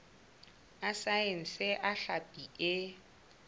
a saense a hlapi e